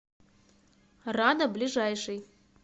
рада ближайший